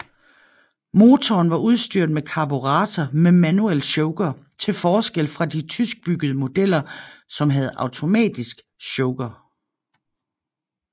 Motoren var udstyret med karburator med manuel choker til forskel fra de tyskbyggede modeller som havde automatisk choker